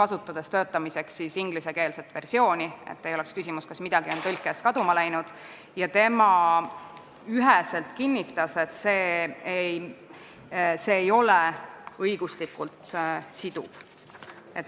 Ta kasutas ingliskeelset versiooni, et ei oleks küsimust, kas midagi on tõlkes kaduma läinud, ja ta kinnitas üheselt, et see ei ole õiguslikult siduv.